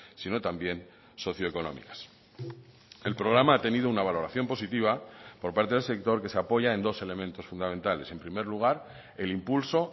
sino también socioeconómicas el programa ha tenido una valoración positiva por parte del sector que se apoya en dos elementos fundamentales en primer lugar el impulso